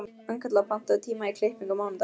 Arnkatla, pantaðu tíma í klippingu á mánudaginn.